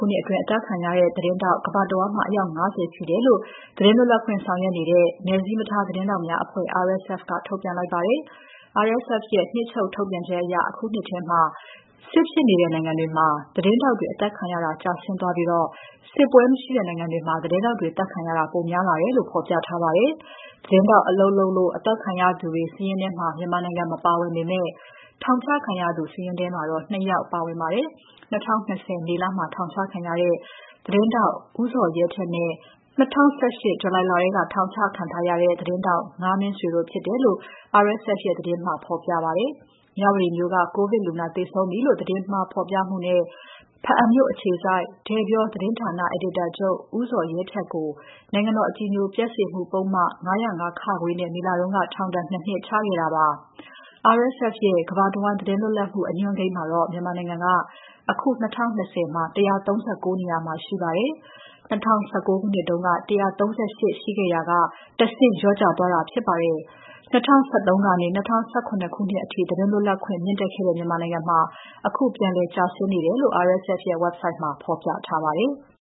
ုနှစ်အတွင်း အသတ်ခံရတဲ့ သတင်းထောက် ကမ္ဘာတဝန်းမှာ အယောက် ၅၀ ရှိတယ်လို့ သတင်းလွတ်လပ်ခွင့်ဆောင်ရွက်နေတဲ့ နယ်စည်းမထား သတင်းထောက်များအဖွဲ့ RSF က ထုတ်ပြန်လိုက်ပါတယ်။ RSF ရဲ့ နှစ်ချုပ်ထုတ်ပြန်ချက်အရ အခုနှစ်ထဲ စစ်ဖြစ်နေတဲ့နိုင်ငံတွေမှာ သတင်းထောက်တွေ အသတ်ခံရတာ ကျဆင်းသွားပြီး စစ်ပွဲမရှိတဲ့နိုင်ငံတွေမှာ သတင်းထောက်တွေ အသတ်ခံရတာ ပိုများလာတယ်လို့ ဖော်ပြထားပါတယ်။ သတင်းထောက်အလုပ်လုပ်လို့ သတ်ခံရသူတွေ စာရင်းထဲ မြန်မာနိုင်ငံက မပါပေမဲ့ ထောင်ချခံရသူတွေစာရင်းထဲမှာ ၂ ယောက်ပါပါတယ်။ ၂၀၂၀ မေလမှာထောင်ချခံရတဲ့ သတင်းထောက် ဦးဇော်ရဲထက်နဲ့ ၂၀၁၈ ဇူလိုင်လထဲက ထောင်ချခံခဲ့ရတဲ့ ငါးမင်းဆွေတို့ဖြစ်တယ်လို့ RSF ရဲ့ စာရင်းမှာ ဖော်ပြပြပါတယ်။ မြဝတီမြို့က ကိုဗစ်လူနာသေဆုံးပြီလို့ သတင်းမှာ ဖော်ပြခဲ့မှုနဲ့ ဘားအံမြို့အခြေစိုက် တဲ့ပြောသတင်းဌာန အယ်ဒီတာချုပ် ဦးဇော်ရဲထက်ကို နိုင်ငံတော်အကြည်ညိုပျက်စေမှုပုဒ်မ ၅၀၅ (ခ) နဲ့ မေလက ထောင်ဒဏ် ၂ နှစ်ချခဲ့တာပါ။ RSF ရဲ့ ကမ္ဘာတဝန်း သတင်းလွတ်လပ်မှု အညွှန်းကိန်းမှာ မြန်မာနိုင်ငံက အခု ၂၀၂၀ မှာ အဆင့် ၁၃၉ မှာရှိပါတယ်။ ၂၀၁၉ မှာ ၁၃၈ ရှိခဲ့ရာက ၁ ဆင့်လျော့ကျသွားတာဖြစ်ပါတယ်။ ၂၀၁၃ ကနေ ၂၀၁၇ ခုနှစ်အထိ သတင်းလွတ်လပ်ခွင့် မြင့်တက်ခဲ့တဲ့ မြန်မာနိုင်ငံမှာ အခုပြန်လည်ကျဆင်းနေတယ်လို့ RSF ရဲ့ website မှာဖော်ပြထားပါတယ်။